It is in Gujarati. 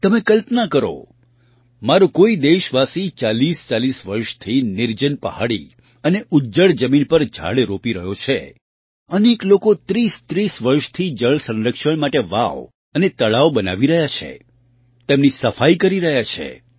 તમે કલ્પના કરો મારો કોઈ દેશવાસી 4040 વર્ષથી નિર્જન પહાડી અને ઉજ્જડ જમીન પર ઝાડ રોપી રહ્યો છે અનેક લોકો 3030 વર્ષથી જળ સંરક્ષણ માટે વાવ અને તળાવ બનાવી રહ્યા છે તેમની સફાઈ કરી રહ્યા છે